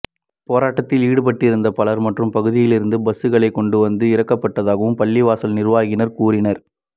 போராட்டத்தில் ஈடுபட்டிருந்த பலர் மற்ற பகுதிகளிலிருந்து பஸ்களில் கொண்டுவந்து இறக்கப்பட்டதாகவும் பள்ளிவாசல் நிர்வாகத்தினர் கூறினர்